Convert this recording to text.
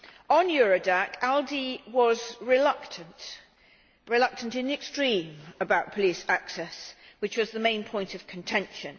On Eurodac, ALDE was reluctant in the extreme about police access, which was the main point of contention.